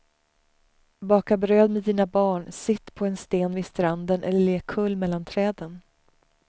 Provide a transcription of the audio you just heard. Baka bröd med dina barn, sitt på en sten vid stranden eller lek kull mellan träden.